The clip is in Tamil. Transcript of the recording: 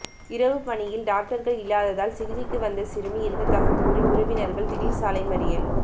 இரவு பணியில் டாக்டர்கள் இல்லாததால் சிகிச்சைக்கு வந்த சிறுமி இறந்ததாக கூறி உறவினர்கள் திடீர் சாலை மறியல்